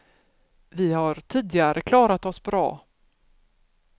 Vi har tidigare klarat oss bra.